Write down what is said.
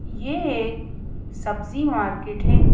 यह एक सब्जी मार्केट है।